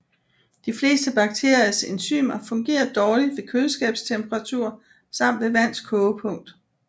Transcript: De fleste bakteriers enzymer fungerer dårligt ved køleskabstemperatur samt ved vands kogepunkt